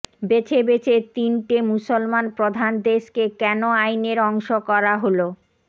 বেছে বেছে তিনটে মুসলমান প্রধান দেশকে কেন আইনের অংশ করা হল